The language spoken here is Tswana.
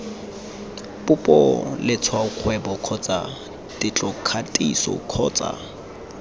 popo letshwaokgwebo kgotsa tetlokgatiso kgotsa